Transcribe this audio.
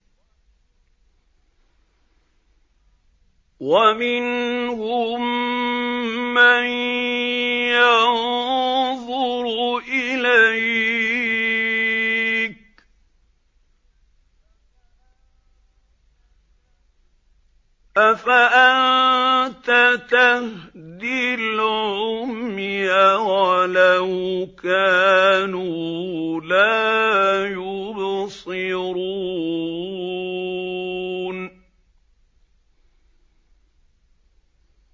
وَمِنْهُم مَّن يَنظُرُ إِلَيْكَ ۚ أَفَأَنتَ تَهْدِي الْعُمْيَ وَلَوْ كَانُوا لَا يُبْصِرُونَ